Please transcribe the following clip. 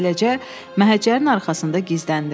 Beləcə, məhəccərin arxasında gizləndim.